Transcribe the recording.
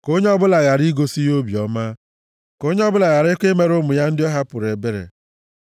Ka onye ọbụla ghara igosi ya obiọma; ka onye ọbụla gharakwa imere ụmụ ya ndị ọ hapụrụ ebere.